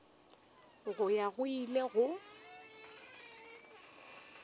go ya go ile go